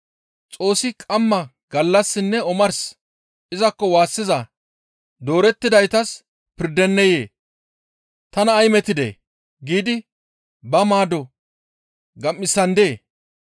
Xoossi qamma, gallassinne omars izakko waassiza doorettidaytas pirdenneyee? Tana ay metidee! giidi ba maado gam7isandee?